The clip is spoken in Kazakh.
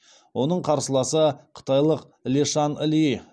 оның қарсыласы қытайлық лешан ли